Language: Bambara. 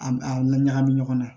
A la ɲagami ɲɔgɔn na